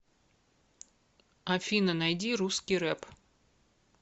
афина найди русский рэп